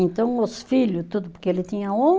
Então, os filho, tudo, porque ele tinha